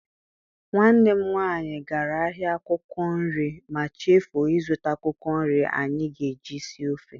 Nwanne m nwaanyị gara ahịa akwụkwọ nri ma chefuo ịzụta akwụkwọ nri anyị ga-eji sie ofe.